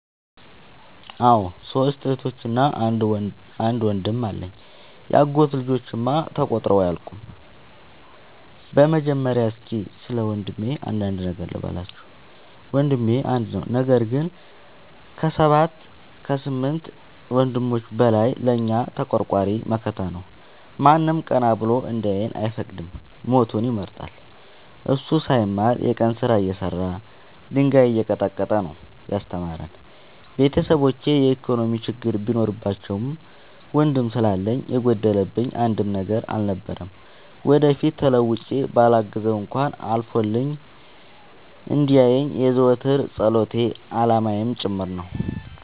አዎ ሶስት እህቶች አንድ ወንድም አለኝ የአጎቴ ልጆች እማ ተቆጥረው አያልቁም። በመጀመሪያ እስኪ ስለወንድሜ አንዳንድ ነገር ልበላችሁ። ወንድሜ አንድ ነው ነገር ግን አሰባት ከስምንት ወንድሞች በላይ ለእኛ ተቆርቋሪ መከታ ነው። ማንም ቀና ብሎ እንዲያየን አይፈቅድም ሞቱን ይመርጣል። እሱ ሳይማር የቀን ስራ እየሰራ ድንጋይ እየቀጠቀጠ ነው። ያስተማረን ቤተሰቦቼ የኢኮኖሚ ችግር ቢኖርባቸውም ወንድም ስላለኝ የጎደለብኝ አንድም ነገር አልነበረም። ወደፊት ተለውጬ በላግዘው እንኳን አልፎልኝ እንዲየኝ የዘወትር ፀሎቴ አላማዬም ጭምር ነው።